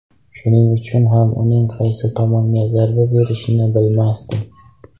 Shuning uchun ham uning qaysi tomonga zarba berishini bilmasdim.